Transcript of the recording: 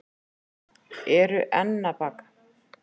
Eru enn að baka